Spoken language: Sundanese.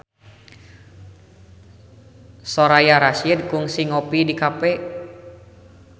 Soraya Rasyid kungsi ngopi di cafe